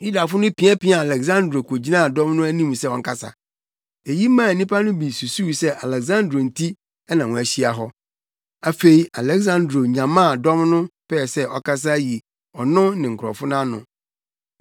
Yudafo no piapiaa Aleksandro kogyinaa dɔm no anim sɛ ɔnkasa. Eyi maa nnipa no bi susuw sɛ Aleksandro nti na wɔahyia hɔ. Afei Aleksandro nyamaa dɔm no pɛɛ sɛ ɔkasa yi ɔno ne ne nkurɔfo ano.